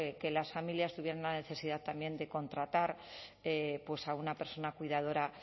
que las familias tuvieran una necesidad también de contratar pues a una persona cuidadora